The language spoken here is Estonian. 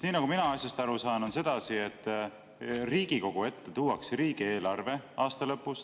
Nii nagu mina asjast aru saan, on sedasi, et Riigikogu ette tuuakse riigieelarve aasta lõpus.